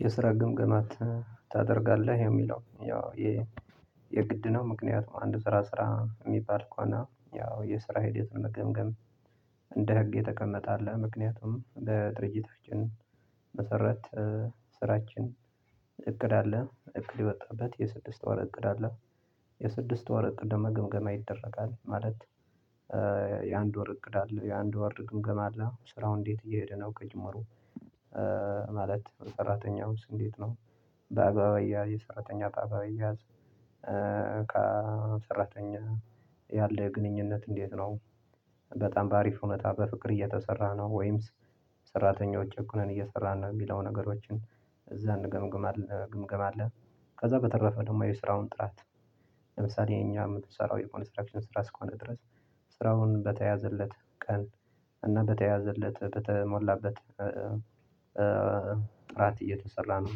የስራ ግምግማ ታደርጋለህ የሚለው ያው ይሄ የግድ ነው። ምክንያቱም አንድ ስራ ስራ የሚባል ከሆነ ያው የስራ ሂደት መገምገም እንደ ህግ የተቀመጠ አለ። ምክንያቱም ለድርጅታችን መሰረት ስራችን እቅድ አለ እቅድ የወጣበት የስድስት ወር እቅድ አለ። የስድስት ወር እቅድ ደሞ ግምገማ ይደረጋል ማለት የአንድ ወር እቅድ አለ የአንድ ወር ድግምገማ አለ ስራው እንዴት እየሄደ ነው ከጅምሩ? ማለት ሰራተኛውስ እንዴት ነው? በአግባብ አያያዝ የሰራተኛ እቃ ባይያዝ የሰራተኛ ያለ ግንኙነት እንዴት ነው? በጣም በአሪፉ ሁኔታ በፍቅር እየተሰራ ነው ወይንስ ሰራተኛው ጭቆነን እየሰራን ነው የሚለው ነገሮችን እዛ እንገምግምል ግምገማ አለ። ከዛ በተረፈ ደግሞ የስራውን ጥራት ለምሳሌ እኛ የምንሰራው የኮንስትራክሽን ስራ እስከሆነ ድረስ ስራውን በተያዘለት ቀን እና በተያዘለት በተሞላበት ጥራት እየተሰራ ነው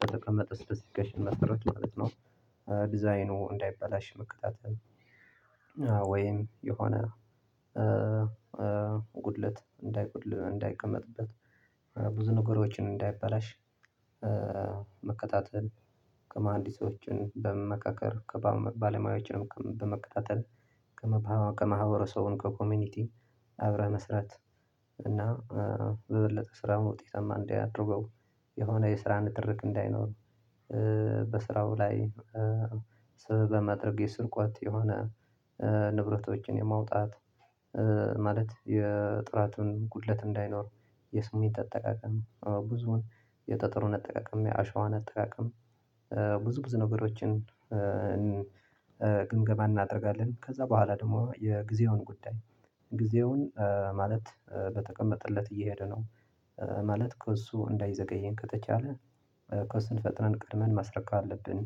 በተቀመጠ ስፔሲፊኬሽን መሰረት ማለት ነው። ዲዛይኑ እንዳይበላሽ መከታተል ወይም የሆነ ጉድለት እንዳይጎድል እንዳይቀመጥበት ብዙ ነገሮችን እንዳይበላሽ መከታተል ከመሀንዲሶችን በመካከር ከባለሙያዎችንም በመከታተል ከማህበረሰቡ ከኮሚኒቲ አብረህ መስራት። እና በበለጠ ስራውን ውጤታማ እንዲያደርገው የሆነ የስራ ንትርክ እንዳይኖር በስራው ላይ በማድረግ የስርቆት የሆነ ንብረቶችን የማውጣት ማለት የጥራትን ጉድለት እንዳይኖር የስሜት አጠቃቀም ብዙን የጠጠሩን አጠቃቀም የአሸዋን አጠቃቀም ብዙ ብዙ ነገሮችን ግምገማ እናደርጋለን። ከዛ በኋላ ደግሞ የጊዜውን ጉዳይ ጊዜውን ማለት በተቀመጠለት እየሄደ ነው ማለት ከእሱ እንዳይዘገየኝ ከተቻለ ከውስን ፈጥነን ቀድመን ማስረከብ አለብን።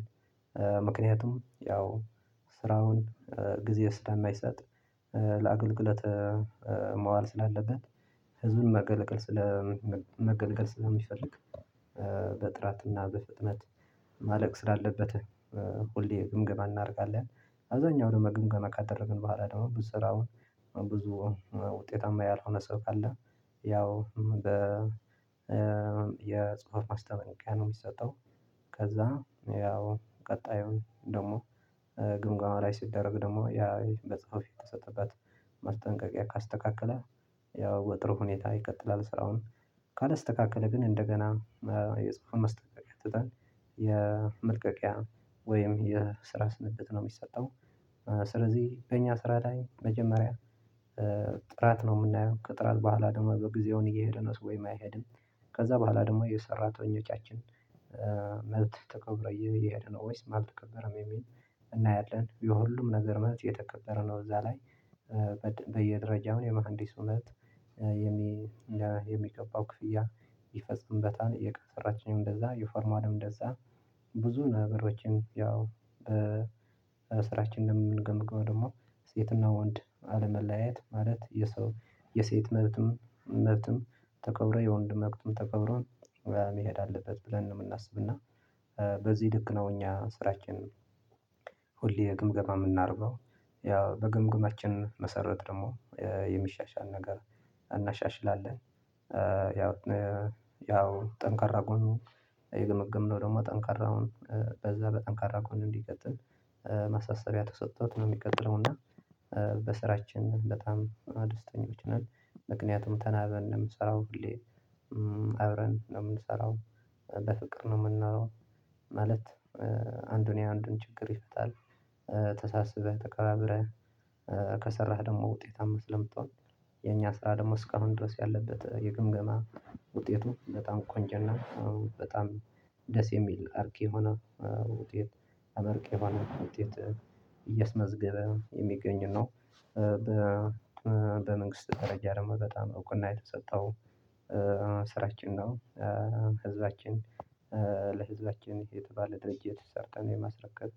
ምክንያቱም ያው ስራውን ጊዜ ስለማይሰጥ ለአገልግለት መዋል ስላለበት ህዝቡን መገልገል ስለ መገልገል ስለሚፈልግ በጥራትና በፍጥነት ማለቅ ስላለበት ሁሌ ግምገና እናደርጋለን። አብዛኛው ደግሞ ግምገና ካደረግን በኋላ ደግሞ ብዙ ስራው ብዙ ውጤታማ ያልሆነ ሰው ካለ ያው የጽሁፈት ማስታወቂያ ነው የሚሰጠው። ከዛ ያው ቀጣዩን ደግሞ ግምገማ ላይ ሲደረግ ደግሞ ያ በጽሁፍ የተሰጠበት ማስጠንቀቂያ ካስተካከለ ያው በጥሩ ሁኔታ ይቀጥላል ስራውን ካላስተካከለ ግን እንደገና የጽሁፍን ማስጠንቀቂያ ትጠን የመልቀቂያ ወይም የስራ ስንብት ነው የሚሰጠው። ስለዚህ በእኛ ስራ ላይ መጀመሪያ ጥራት ነው የምናየው ከጥራት በኋላ ደግሞ በጊዜውን እየሄደ ነው ወይስ አይሄድም? ከዛ በኋላ ደግሞ የሰራተኞቻችን መብት ተከብሮ እየሄደ ነው ወይስ አልተከበረም የሚል እናያለን። የሁሉም ነገር መብት እየተከበረ ነው እዛ ላይ በየደረጃው የመሃንዲስ እውነት የሚገባው ክፍያ ይፈጽምበታል። የቀጠራችንም እንደዛ የፎርማንም እንደዛ ብዙ ነገሮችን ያው በስራችን እንደምንገምገው ደግሞ ሴትና ወንድ አለመለያየት ማለት የሰው የሴት መብትም መብትም ተከብሮ የወንድ መብትም ተከብሮ መሄድ አለበት ብለን ነው። የምናስብና በዚህ ልክ ነው እኛ ስራችን ሁሌ ግምገማ ምናረገው ያው በግምግማችን መሰረት ደግሞ የሚሻሻል ነገር እናሻሽላለን። ያው ያው ጠንካራ ጎኑ የገመገምነው ደግሞ ጠንካራ በዛ በጠንካራ ጎኑ እንዲቀጥል ማሳሰቢያ ተሰጥቶት ነው የሚቀጥለው። እና በስራችን በጣም ደስተኞች ነን ምክንያቱም ተናበን ነው ምንሰራው ሁሌ አብረን ነው ምንሰራው በፍቅር ነው የምናየው ማለት አንዱን የአንዱን ችግር ይፈታል። ተሳስበህ ተከባብረህ ከሰራህ ደግሞ ውጤታማ ስለምትሆን የኛ ስራ ደግሞ እስካሁን ድረስ ያለበት የግምገማ ውጤቱ በጣም ቆንጆና በጣም ደስ የሚል አርኪ የሆነ ውጤት አመርቂ የሆነ ውጤት እየስመዝገበ የሚገኝ ነው። በመንግስት ደረጃ ደግሞ በጣም እውቅና የተሰጠው ስራችን ነው። ህዝባችን ለህዝባችን የተባለ ድርጅት ሰርተን የማስረከብ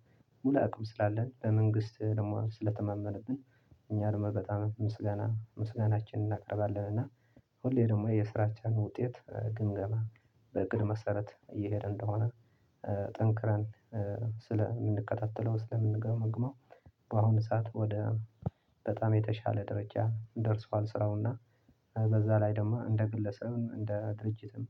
ሙሉ አቅም ስላለን ለመንግስት ደግሞ ስለተማመነብን እኛ ደግሞ በጣም ምስጋና ምስጋናችንን እናቀርባለን። እና ሁሌ ደግሞ የስራቻን ውጤት ግምገማ በእቅድ መሰረት እየሄደ እንደሆነ ጠንክረን ስለምንከታተለው ስለምንገመግመው በአሁኑ ሰዓት ወደ በጣም የተሻለ ደረጃ ደርሷል ስራውና በዛ ላይ ደግሞ እንደ ግለሰብም እንደ ድርጅትም።